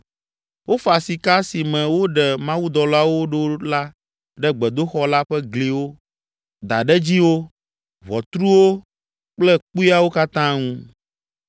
Wofa sika si me woɖe mawudɔlawo ɖo la ɖe gbedoxɔ la ƒe gliwo, daɖedziwo, ʋɔtruwo kple kpuiawo katã ŋu.